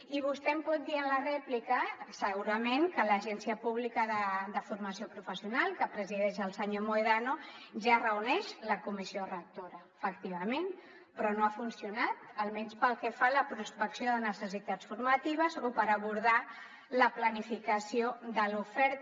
i vostè em pot dir en la rèplica segurament que l’agència pública de formació i qualificació professionals que presideix el senyor mohedano ja reuneix la comissió rectora efectivament però no ha funcionat almenys pel que fa a la prospecció de necessitats formatives o per abordar la planificació de l’oferta